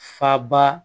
Faba